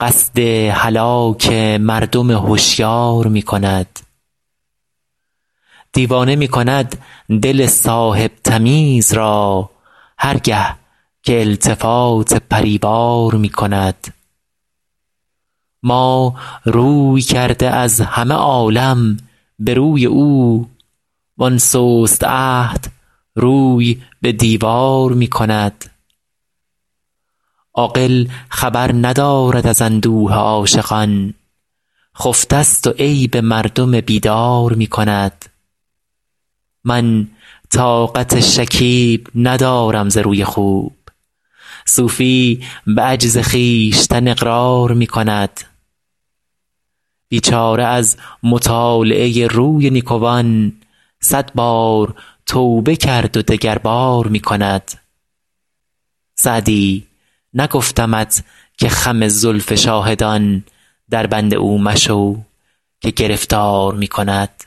قصد هلاک مردم هشیار می کند دیوانه می کند دل صاحب تمیز را هر گه که التفات پری وار می کند ما روی کرده از همه عالم به روی او وآن سست عهد روی به دیوار می کند عاقل خبر ندارد از اندوه عاشقان خفته ست و عیب مردم بیدار می کند من طاقت شکیب ندارم ز روی خوب صوفی به عجز خویشتن اقرار می کند بیچاره از مطالعه روی نیکوان صد بار توبه کرد و دگربار می کند سعدی نگفتمت که خم زلف شاهدان دربند او مشو که گرفتار می کند